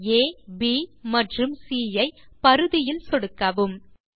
புள்ளி அப் மற்றும் சி ஐ பரிதியில் சொடுக்கவும்